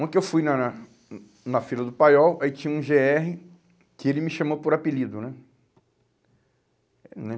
Uma que eu fui na na na fila do Paiol, aí tinha um gê erre que ele me chamou por apelido, né? Né?